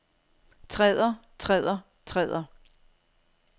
træder træder træder